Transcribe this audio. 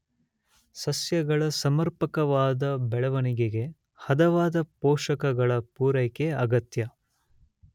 ಸಸ್ಯಗಳ ಸಮರ್ಪಕವಾದ ಬೆಳೆವಣಿಗೆಗೆ ಹದವಾದ ಪೋಷಕಗಳ ಪುರೈಕೆ ಅಗತ್ಯ.